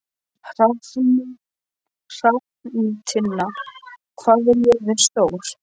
Hrafntinna, hvað er jörðin stór?